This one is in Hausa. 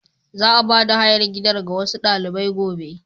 Za a bada hayar gidan ga wasu dalibai gobe.